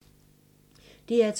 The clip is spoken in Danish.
DR2